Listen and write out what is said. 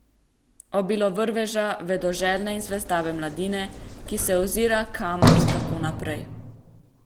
Obilo vrveža, vedoželjne in zvedave mladine, ki se ozira, kam in kako naprej.